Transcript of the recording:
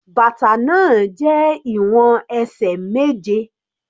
Bàtà náà jẹ́ ìwọ̀n ẹsẹ̀ méje.